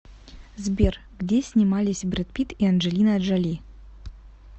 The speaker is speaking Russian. сбер где снимались бред питт и анджелина джоли